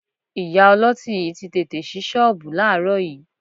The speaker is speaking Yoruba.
Ìyá ọlọ́tí yìí tí tètè ṣí ṣọ́ọ̀bù láàárọ̀ yìí